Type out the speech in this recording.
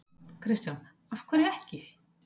Kristján: Af hverju ekki?